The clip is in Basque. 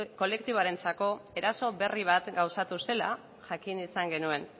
kolektiboarentzako eraso berri bat gauzatu zela jakin izan genuen